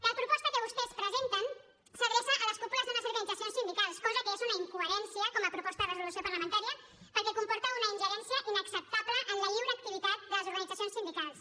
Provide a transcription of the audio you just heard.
la proposta que vostès presenten s’adreça a les cúpules d’unes organitzacions sindicals cosa que és una incoherència com a proposta de resolució parlamentària perquè comporta una ingerència inacceptable en la lliure activitat de les organitzacions sindicals